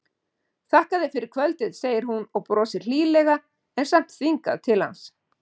Þakka þér fyrir kvöldið, segir hún og brosir hlýlega en samt þvingað til hans.